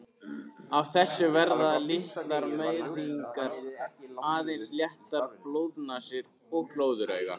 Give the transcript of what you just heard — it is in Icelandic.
Af þessu verða litlar meiðingar, aðeins léttar blóðnasir og glóðaraugu.